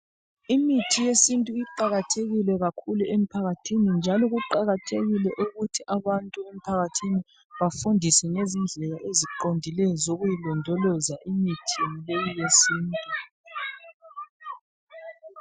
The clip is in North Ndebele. Imithi yesintu iqakathekile kakhulu emphakathini. Njalo kuqakathekile ukuthi abantu emphakathini bafundiswe ngezindlela eziqondileyo zokuyilondoloza imithi leyi yesintu.